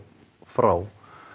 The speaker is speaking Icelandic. frá